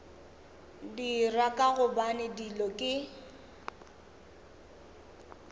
dira ka gobane dilo ke